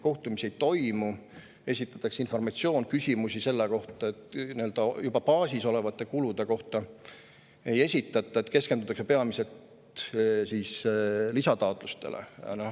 Antakse lihtsalt informatsioon edasi, kuid küsimusi juba baasis olevate kulude kohta ei esitata, vaid keskendutakse peamiselt lisataotlustele.